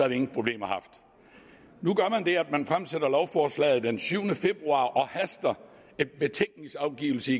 vi ingen problemer haft nu gør man det at man fremsætter lovforslaget den syvende februar og haster en betænkningsafgivelse